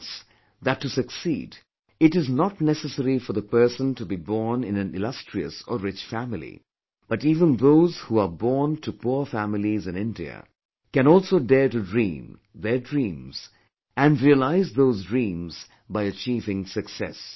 He showed us that to succeed it is not necessary for the person to be born in an illustrious or rich family, but even those who are born to poor families in India can also dare to dream their dreams and realize those dreams by achieving success